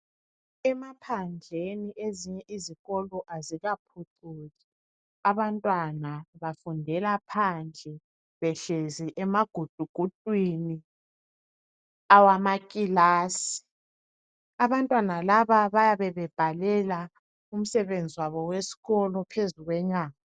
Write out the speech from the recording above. Emaphandleni ezinye izikolo azikaguquki abantwana bafundela phandle behlezi emagudugudwini awamakilasi abantwana laba bayabe bebhalela umsebenzi wabo wesikolo phezu kwenyama